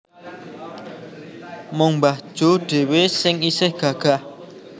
Mung mbah Jo dhewe sing isih gagah